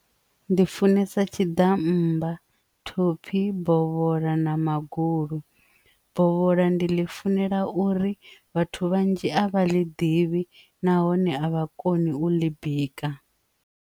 Ndi funesa tshiḓammba topfi bola na maga holu bola ndi ḽi funela uri vhathu vhanzhi a vha ḽi ḓivhi nahone avha koni u ḽi bika.